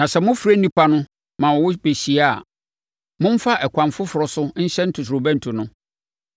Na sɛ mofrɛ nnipa no ma wɔbɛhyia a, momfa ɛkwan foforɔ so nhyɛne ntotorobɛnto no.